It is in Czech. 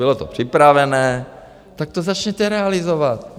Bylo to připravené, tak to začněte realizovat.